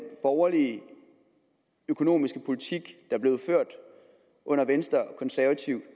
borgerlige økonomiske politik der blev ført under venstre konservative